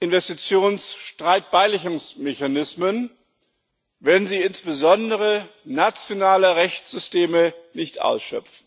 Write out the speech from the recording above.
Investitionsstreitbeilegungsmechanismen, wenn sie insbesondere nationale Rechtssysteme nicht ausschöpfen.